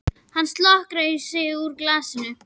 Hann slokrar í sig úr glasinu.